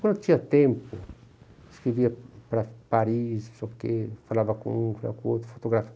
Quando eu tinha tempo, eu escrevia para Paris, não sei o que, falava com um, falava com outro